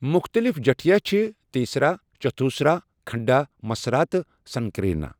مُختلِف جٹھیہِ چھِ تیسرا، چتھوسرا، کھنڈا، مصرا تہٕ سنکیرنہ۔